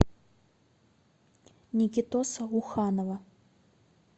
никитоса уханова